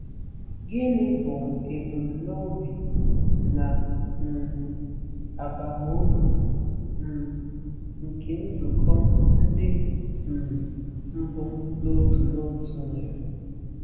Gịnị bụ ebumnobi na um abamuru um nke nzukọ ndị um mbụ n'otu n'otu nwere?